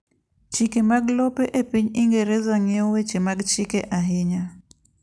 Chike mag lope epiny Ingereza ng'iyo weche mag chike ahinya.